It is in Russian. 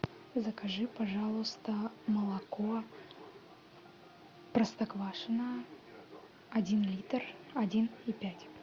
закажи пожалуйста молоко простоквашино один литр один и пять